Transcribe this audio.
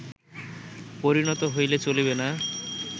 পরিণত হইলে চলিবে না